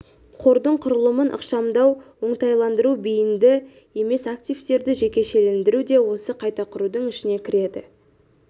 қордың құрылымын ықшамдау оңтайландыру бейінді емес активтерді жекешелендіру де осы қайта құрудың ішіне кіреді